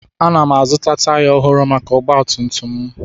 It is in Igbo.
Ana m azụta taya ọhụrụ maka ọgba tum tum m